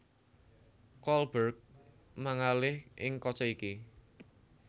Kolberg mangalih ing kaca iki